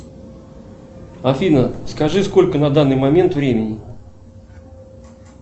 афина скажи сколько на данный момент времени